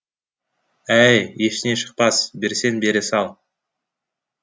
әй ештеңе шықпас берсең бере сал